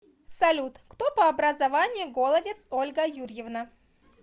салют кто по образованию голодец ольга юрьевна